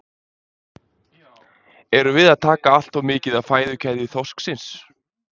Erum við að taka allt of mikið af fæðukeðju þorsksins?